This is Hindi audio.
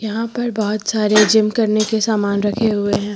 यहां पर बहोत सारे जिम करने के सामान रखे हुए हैं।